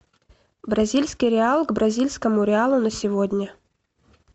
бразильский реал к бразильскому реалу на сегодня